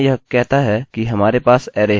और यहाँ यह कहता है कि हमारे पास अरै है